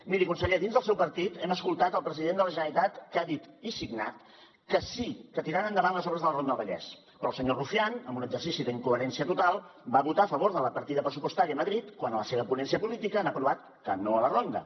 miri conseller dins del seu partit hem sentit el president de la generalitat que ha dit i signat que sí que tiraran endavant les obres de la ronda del vallès però el senyor rufián en un exercici d’incoherència total va votar a favor de la partida pressupostària a madrid quan a la seva ponència política han aprovat que no a la ronda